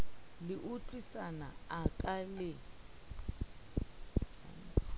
le utlwisisana a ka le